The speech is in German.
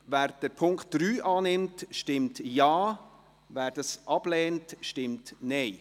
Wer den Punkt 3 annimmt, stimmt Ja, wer diesen ablehnt, stimmt Nein.